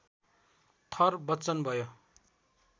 थर बच्चन भयो